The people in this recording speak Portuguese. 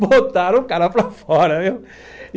Botaram o cara para fora, viu?